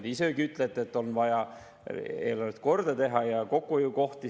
Te isegi ütlesite, et on vaja eelarve korda teha ja kokkuhoiukohti.